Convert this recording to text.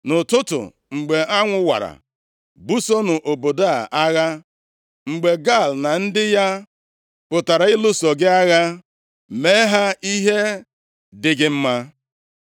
Nʼụtụtụ, mgbe anwụ wara, busonụ obodo a agha. Mgbe Gaal na ndị ya pụtara ịlụso gị agha, mee ha ihe dị gị mma.”